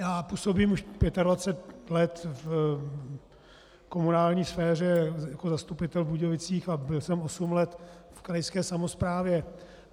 Já působím už 25 let v komunální sféře jako zastupitel v Budějovicích a byl jsem osm let v krajské samosprávě.